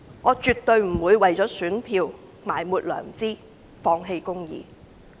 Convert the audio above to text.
我絕對不會為了選票而埋沒良知，放棄公義。